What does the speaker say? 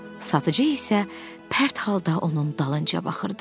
Satıcı isə pərt halda onun dalınca baxırdı.